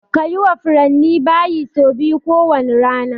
Kayi wa furanni bayi sau biyu ko wane rana